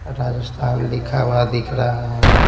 राजस्थान लिखा हुआ दिख रहा है।